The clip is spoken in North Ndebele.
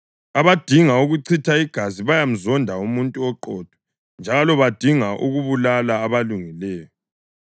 Abadinga ukuchitha igazi bayamzonda umuntu oqotho njalo badinga ukubulala abalungileyo.